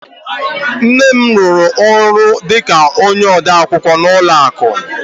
Nne m rụrụ ọrụ dị ka onye odeakwụkwọ n'ụlọ akụ